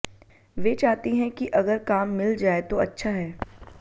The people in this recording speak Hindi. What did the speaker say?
वे चाहती हैं कि अगर काम मिल जाए तो अच्छा है